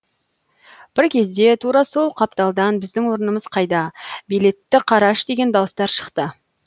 бір кезде тура сол қапталдан біздің орнымыз қайда билетті қараш деген дауыстар шықты